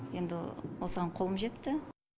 енді осыған қолым жетті